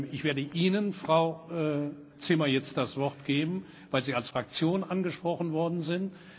Ich werde Ihnen, Frau Zimmer, jetzt das Wort geben, weil Sie als Fraktion angesprochen worden sind.